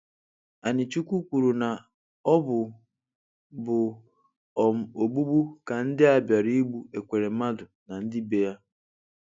Anichukwu kwuru na ọ bụ bụ um ogbụgbụ ka ndị a bịara igbụ Ekweremadu na ndị be ya.